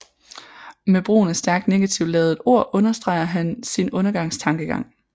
Med brugen af stærkt negativt ladede ord understreger han sin undergangstankegang